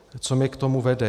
Co mě k tomu vede?